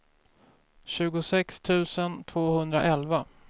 tjugosex tusen tvåhundraelva